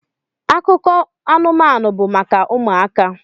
Akụkọ anụmanụ bụ maka ụmụaka